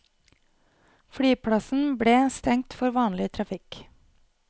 Flyplassen ble stengt for vanlig trafikk.